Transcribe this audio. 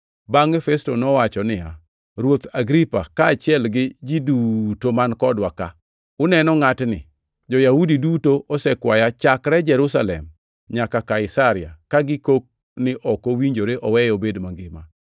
Bangʼe Festo nowacho niya, “Ruoth Agripa kaachiel gi ji duto man kodwa ka, uneno ngʼatni! Jo-Yahudi duto osekwaya chakre Jerusalem nyaka Kaisaria ka gikok ni ok owinjore oweye obed mangima.